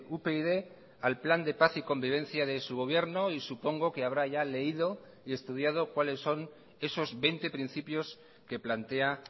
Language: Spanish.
upyd al plan de paz y convivencia de su gobierno y supongo que habrá ya leído y estudiado cuáles son esos veinte principios que plantea